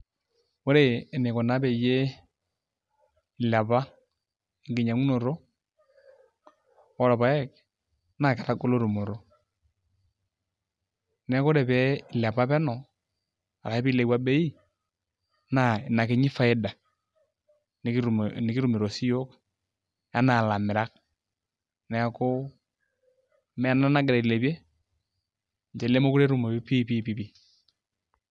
Ore enikuna peyie ilepa enkinyiang'unoto orpaek naa ore pee ilepa penyo ashu pee ilepua bei naa ina kini faida nekitumito siyiiok enaa ilamirak neeku ina nagira ailepie nemeekure etumoyu piipi.